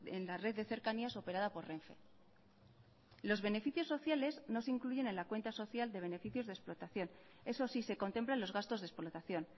en la red de cercanías operada por renfe los beneficios sociales no se incluyen en la cuenta social de beneficios de explotación eso sí se contemplan los gastos de explotación